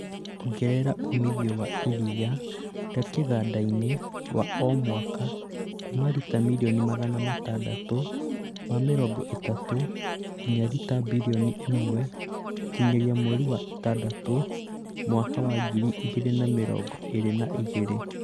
Ongerera umithio wa iriia rĩa kĩganda-inĩ wa o mwaka kuuma rita mirioni Magana matandatũ ma mĩrongo ĩtatũ nginya rita birioni ĩmwe gũkinyĩria mweri wa ĩtandatũ mwaka wa ngiri igĩrĩ na mĩrongo ĩri na igĩrĩ